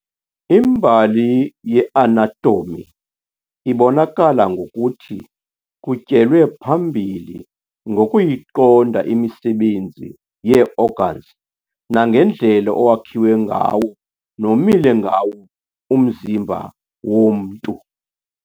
Imbali ye-anatomy ibonakala ngokuthi kutyelwe phambili ngokuyiqonda imisebenzi yee-organs nangendlela owakhiwe ngawo nomile ngawo umzimba womntu.